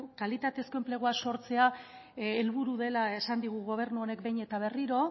kalitatezko enplegua sortzea helburu dela esan digu gobernu honek behin eta berriro